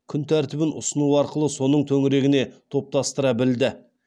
күн тәртібін ұсыну арқылы соның төңірегіне топтастыра білді